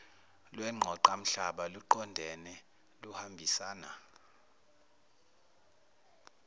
lwengqoqamhlaba luqondene luhambisana